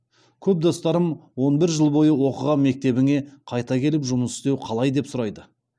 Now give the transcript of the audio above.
көп достарым он бір жыл бойы оқыған мектебіңе қайта келіп жұмыс істеу қалай деп сұрайды